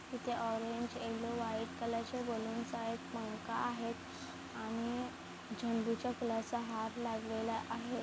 इथे orange yellow white colour चे balloons आहे आणि पंखा आणि झेंडूच्या फुलांच्या हार लागलेला आहे.